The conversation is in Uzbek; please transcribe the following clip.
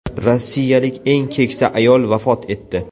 Rossiyalik eng keksa ayol vafot etdi.